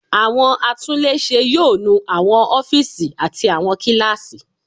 Àwọn atúnlé ṣe yóò nu àwọn ófíìsì àti àwọn kíláàsì.